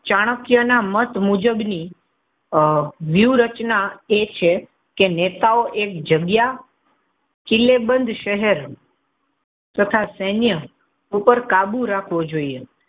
ચાણક્ય ના મત મુજબ ની આહ વ્યૂહરચના એ છે નેતાઓ એક જગ્યા કિલ્લે બંધ શહેર તથા સૈન્ય ઉપર કાબૂ રાખવો જોઈએ.